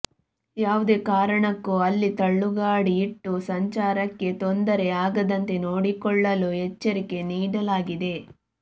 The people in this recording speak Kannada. ಯಾವುದೇ ಕಾರಣಕ್ಕೂ ಅಲ್ಲಿ ತಳ್ಳುಗಾಡಿ ಇಟ್ಟು ಸಂಚಾರಕ್ಕೆ ತೊಂದರೆ ಆಗದಂತೆ ನೋಡಿಕೊಳ್ಳಲು ಎಚ್ಚರಿಕೆ ನೀಡಲಾಗಿದೆ